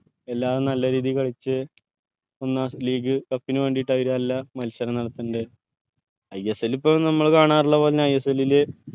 എല്ലാം നല്ല രീതിൽ കളിച് league cup നു വേണ്ടീട്ട് അല്ല മത്സരം നടത്തണ്ടെ ISL ഇപ്പൊ നമ്മൾ കാണാറുള്ള പോലെ ISL ൽ